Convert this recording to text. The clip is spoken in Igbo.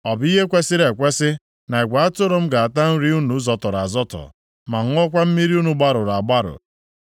Ọ bụ ihe kwesiri ekwesi na igwe atụrụ m ga-ata nri unu zọtọrọ azọtọ, ma ṅụọkwa mmiri unu gbarụrụ agbarụ?